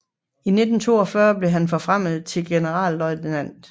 I juni 1942 blev han forfremmet til generalløjtnant